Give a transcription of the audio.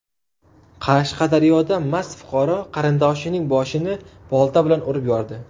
Qashqadaryoda mast fuqaro qarindoshining boshini bolta bilan urib yordi.